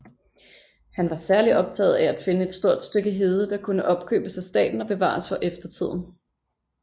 Han var særligt optaget af at finde et stort stykke hede der kunne opkøbes af staten og bevares for eftertiden